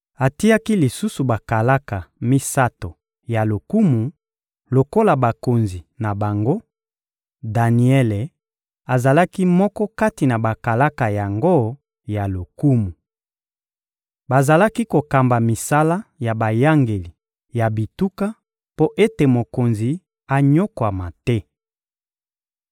Atiaki lisusu bakalaka misato ya lokumu lokola bakonzi na bango; Daniele azalaki moko kati na bakalaka yango ya lokumu. Bazalaki kokamba misala ya bayangeli ya bituka mpo ete mokonzi anyokwama te.